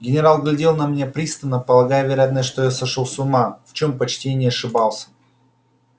генерал глядел на меня пристально полагая вероятно что я сошёл с ума в чем почти и не ошибался